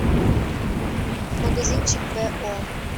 магазинчик бо